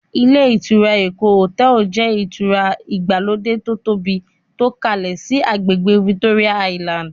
Ilé ìtura "Eko Hotel" jẹ́ ìtura ìgbàlódé to tóbi tó kalẹ síí àgbègbè "Victoria Island".